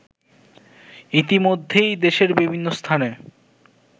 ইতিমধ্যেই দেশের বিভিন্ন স্থানে